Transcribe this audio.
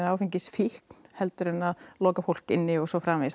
áfengisfíkn en að loka fólk inni og svo framvegis